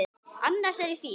Annars er ég fín.